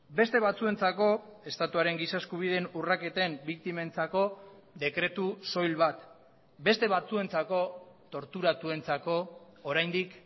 beste batzuentzako estatuaren giza eskubideen urraketen biktimentzako dekretu soil bat beste batzuentzako torturatuentzako oraindik